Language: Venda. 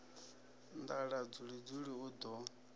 nḓala dzuli dzuli u ḓo